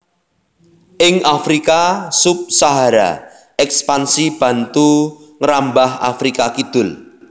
Ing Afrika Sub Sahara Èkspansi Bantu ngrambah Afrika Kidul